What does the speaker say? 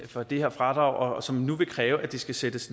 for det her fradrag og som nu vil kræve at det skal sættes